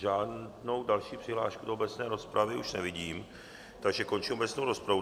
Žádnou další přihlášku do obecné rozpravy už nevidím, takže končím obecnou rozpravu.